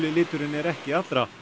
liturinn er ekki allra